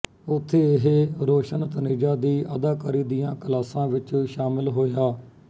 ਉਥੇ ਇਹ ਰੌਸ਼ਨ ਤਨੇਜਾ ਦੀ ਅਦਾਕਾਰੀ ਦੀਆਂ ਕਲਾਸਾਂ ਵਿੱਚ ਸ਼ਾਮਲ ਹੋਇਆ